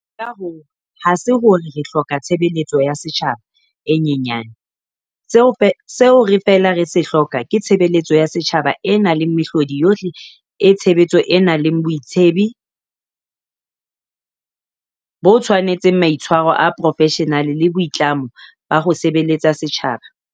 Ka hoo, ha se hore re hloka tshe beletso ya setjhaba e nyenya ne- seo re feela re se hloka ke tshebeletso ya setjhaba e nang le mehlodi yohle e tshe betso e nang le boitsebi bo tshwanetseng, maitshwaro a boprofeshenale le boitlamo ba ho sebeletsa setjhaba.